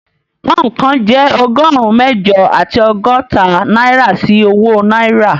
Pọ́ùn kan jẹ́ ọgọ́rùn-ún mẹ́jọ àti ọgọ́ta náírà sí owó náírà